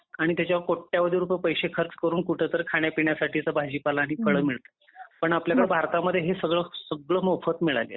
आणि त्याच्यामध्ये कोट्यावधी रुपये पैसे खर्च करून कुठेतरी खाना पिण्यासाठी असं भाजीपाला आणि फळ मिळतात. पण आपल्याला भारतामध्ये हे सगळं सगळं मोफत मिळालेला आहे